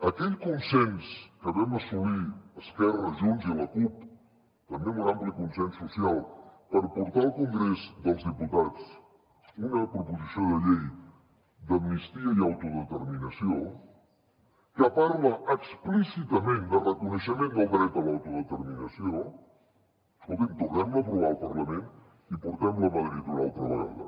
aquell consens que vam assolir esquerra junts i la cup també amb un ampli consens social per portar al congrés dels diputats una proposició de llei d’amnistia i autodeterminació que parla explícitament de reconeixement del dret a l’autodeterminació escolti’m tornem la a aprovar al parlament i portem la a madrid una altra vegada